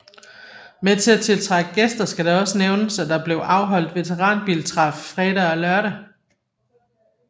Med til at tiltrække gæster skal det også nævnes at der blev afholdt veteranbiltræf fredag og lørdag